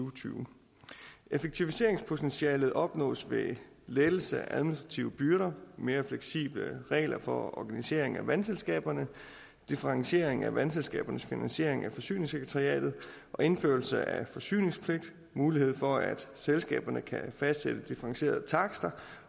og tyve effektiviseringspotentialet opnås ved lettelse af administrative byrder mere fleksible regler for organisering af vandselskaberne differentiering af vandselskabernes finansiering af forsyningssekretariatet og indførelse af forsyningspligt mulighed for at selskaberne kan fastsætte differentierede takster